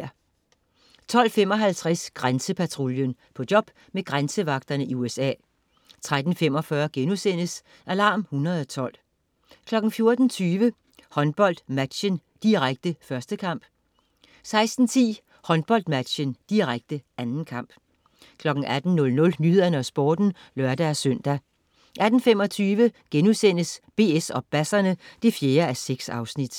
12.55 Grænsepatruljen. På job med grænsevagterne i USA 13.45 Alarm 112* 14.20 HåndboldMatchen, direkte. 1. kamp 16.10 HåndboldMatchen, direkte. 2. kamp 18.00 Nyhederne og Sporten (lør-søn) 18.25 BS og basserne 4:6*